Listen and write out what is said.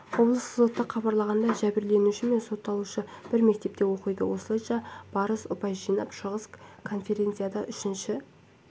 облыстық сотта хабарлағандай жәбірленуші мен сотталушы бір мектепте оқиды осылайша барыс ұпай жинап шығыс конференцияда үшінші